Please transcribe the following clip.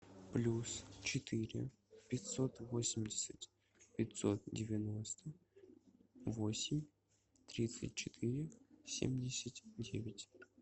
плюс четыре пятьсот восемьдесят пятьсот девяносто восемь тридцать четыре семьдесят девять